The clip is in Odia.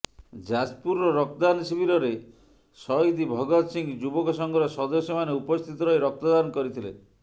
ଯାଜପୁରର ରକ୍ତଦାନ ଶିବିରରେ ସହୀଦ ଭଗତ ସିଂ ଯୁବକ ସଂଘର ସଦସ୍ୟ ମାନେ ଉପସ୍ଥିତ ରହି ରକ୍ତଦାନ କରିଥିଲେ